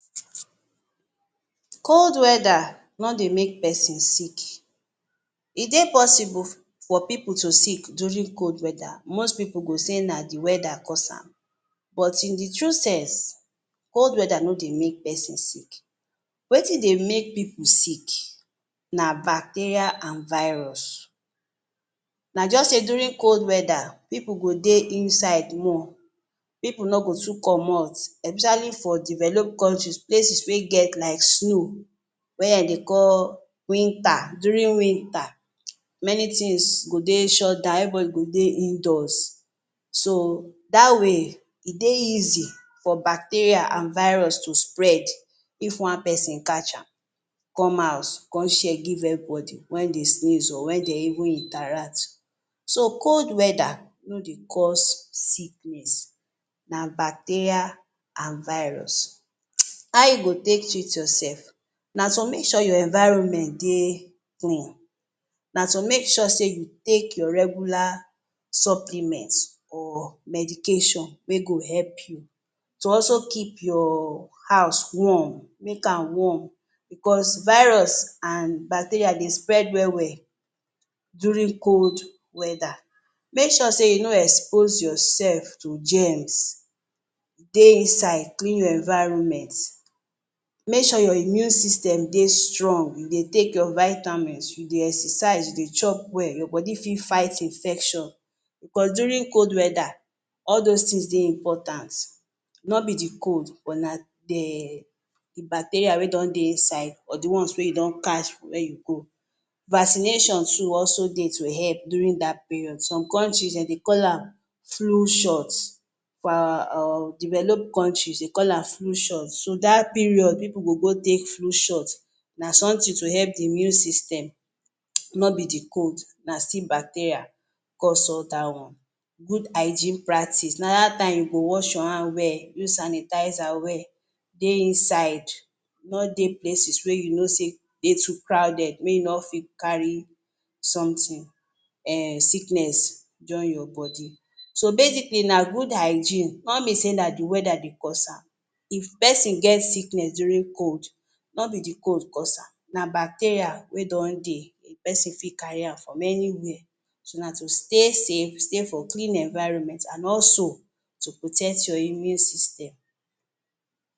3 Cold weda no dey make person sick e dey possible for pipu to sick during cold weather. Most pipu go say na de weather cause am but in de true sense, cold weather no dey make person sick wetin dey make pipu sick na bacteria an virus. Na just sey during cold weather pipu go dey inside more pipu no go too comot especially for developed countries places wey get like snow wey dem dey call winter. During winter, many things go dey shut down everybody go dey indoors so that way e dey easy for bacteria an virus to spread it. one person catch am come house come share am give everybody when dem sneeze or when dem even interact. so cold weather no dey cause sickness, na bacteria an virus. How you go take treat yourself na to make sure your environment dey clean, na to make sure say you take your regular supplement or medication wey go help you to also keep your house warm. Make am warm because virus an bacteria dey spread well well during cold weather, make sure sey you no expose yourself to germs- dey inside, clean your environment make sure your immune system dey strong, you dey take your vitamins, you dey exercise, you dey chop well, your body for fight infection cause during cold weather, all those things dey important. No be de cold but na bacteria wey don dey inside or de ones wey you don catch wey you go vaccination too also dey to help during that period. some countries dem, dey call am flu shot. For our developed countries, dey call am flu shot so that period, pipu go go take flu shot. Na something to help de immune system, no be de cold na still bacteria go solve that one. Good hygiene practice na that time you go wash your hand well, use sanitizer well dey inside nor dey places wey you know sey dey too crowded. make you no fit carry sometin um sickness join your body so basically na good hygiene nor be sey na de weather cause am. if person get sickness during cold, no be de cold cause am, na bacteria wey don dey, de person fit carry am from anywhere. so na to stay safe, stay for clean environments and also to protect your immune system.